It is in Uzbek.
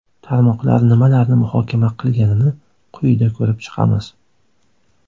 Tarmoqlar nimalarni muhokama qilganini quyida ko‘rib chiqamiz.